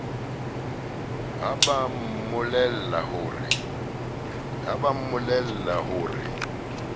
ha ba mmolella ho re